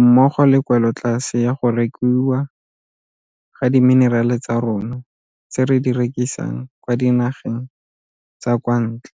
mmogo le kwelotlase ya go rekiwa ga dimenerale tsa rona tse re di rekisang kwa dinageng tsa kwa ntle.